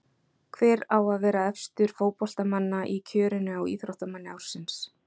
Hver á að vera efstur fótboltamanna í kjörinu á Íþróttamanni ársins?